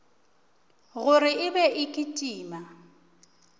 gore e be e kitima